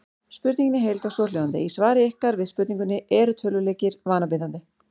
Spurningin í heild var svohljóðandi: Í svari ykkar við spurningunni Eru tölvuleikir vanabindandi?